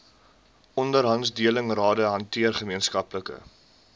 onderhandelingsrade hanteer gemeenskaplike